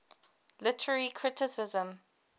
literary criticism